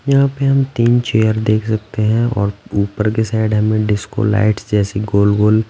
यहाँ पे हम तीन चेयर देख सकते हैं और ऊपर के साइड हमें डिस्को लाइट्स जैसी गोल-गोल--